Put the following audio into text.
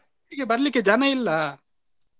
ಒಟ್ಟಿಗೆ ಬರ್ಲಿಕ್ಕೆ ಜನ ಇಲ್ಲಾ.